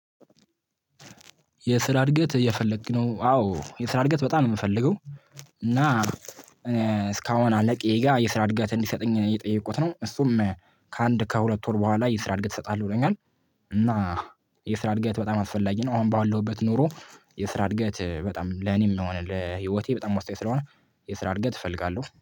የስራ እድገት እየፈለግህ ነው? አዎ የስራ እድገት በጣም ነው የምፈልገው እና አለቄ ጋር የስራ እድገት እንዲሰጠኝ እየጠየቁት ነው እሱም ከአንድ ከሁለት ወር በኋላ የስራ እድገት እሰጣለሁ ብሎኛል እና የስራ እድገት በጣም አስፈላጊ ነው አሁን ባለሁበት ኑሮ የስራ እድገት በጣም ለኔም የሆነ ለህይወቴ በጣም ወሳኝ ስለሆነ የስራ እድገት እፈልጋለሁ።